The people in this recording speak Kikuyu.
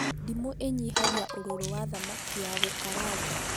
Ndimũ ĩnyihagia ũrũrũ wa thamaki ya gũkaranga